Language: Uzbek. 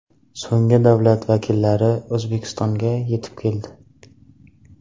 So‘nggi davlat vakillari O‘zbekistonga yetib keldi.